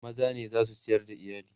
maza ne zasu ciyar da iyali